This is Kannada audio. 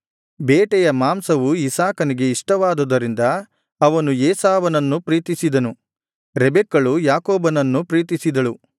ಬೇಟೆಯ ಮಾಂಸವು ಇಸಾಕನಿಗೆ ಇಷ್ಟವಾದುದರಿಂದ ಅವನು ಏಸಾವನನ್ನು ಪ್ರೀತಿಸಿದನು ರೆಬೆಕ್ಕಳು ಯಾಕೋಬನನ್ನು ಪ್ರೀತಿಸಿದಳು